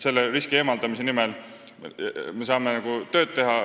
Selle riski eemaldamise nimel me saame tööd teha.